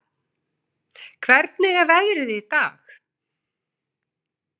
Dara, hvernig er veðrið í dag?